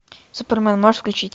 супермен можешь включить